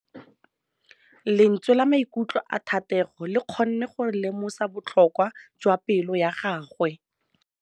Lentswe la maikutlo a Thategô le kgonne gore re lemosa botlhoko jwa pelô ya gagwe.